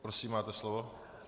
Prosím, máte slovo.